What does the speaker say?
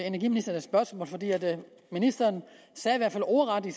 energiministeren et spørgsmål ministeren sagde i hvert fald ordret i